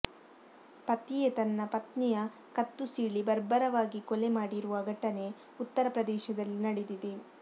ಪತಿಯೇ ತನ್ನ ಪತ್ನಿಯ ಕತ್ತು ಸೀಳಿ ಬರ್ಬರವಾಗಿ ಕೊಲೆ ಮಾಡಿರುವ ಘಟನೆ ಉತ್ತರ ಪ್ರದೇಶದಲ್ಲಿ ನಡೆದಿದೆ